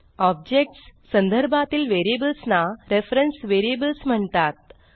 objects संदर्भातील variables ना reference variables म्हणतात